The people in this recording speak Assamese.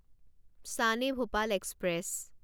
শ্বান এ ভোপাল এক্সপ্ৰেছ